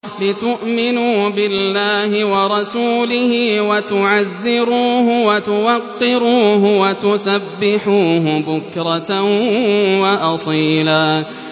لِّتُؤْمِنُوا بِاللَّهِ وَرَسُولِهِ وَتُعَزِّرُوهُ وَتُوَقِّرُوهُ وَتُسَبِّحُوهُ بُكْرَةً وَأَصِيلًا